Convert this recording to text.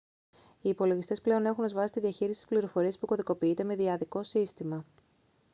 οι υπολογιστές πλέον έχουν ως βάση τη διαχείριση της πληροφορίας που κωδικοποιείται με δυαδικό σύστημα